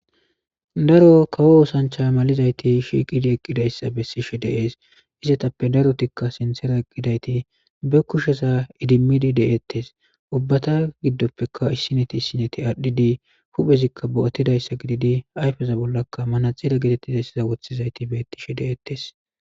daro kawo oosanchay malizayti shiiqidi eqqidayssa bessishe deees izetappe darotikka sintera eqqidayti be kushesa idimmidi de7ettes ubbata giddoppeka issineti issineti aadhdhidi huphezikka bo7ottidayssa gididi ayfeza bollaka mana xila gitettizaysiza wothizayti bettishe deeettes